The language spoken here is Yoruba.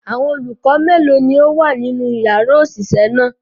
Awọn olukọ melo ni o wa ninu yara oṣiṣẹ naa?